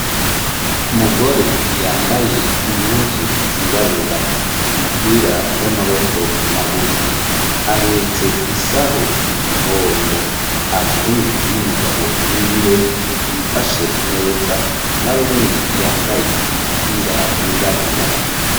Umugore, yambaye impuzu, zirabura, umupira, w'amaboko magufi; ahetse isaho, mu mugongo, ari kumwe n'umugabo wiwe, yifashe neza, na we nyene, yambaye umupira, wirabura.